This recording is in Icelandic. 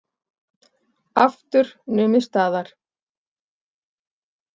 Aftur numið staðar.